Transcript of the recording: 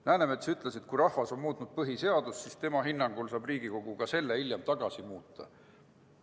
Läänemets ütles, et kui rahvas on muutnud põhiseadust, siis tema hinnangul saab Riigikogu selle hiljem tagasi muuta.